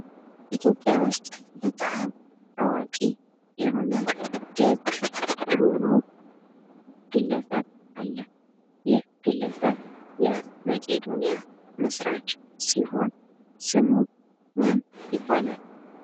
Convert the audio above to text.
ኢትዮጵያ ውስጥ በጣም አዋቂ የሆነ ደግ ሮሆሩህ ግለሰብ አለ። ይህ ግለሰብ የመቄዶንያ መስራች ሲሆን ስሙ ማን ይባላል?